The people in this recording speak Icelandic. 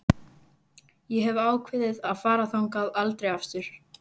Ég hef ákveðið að fara þangað aldrei aftur.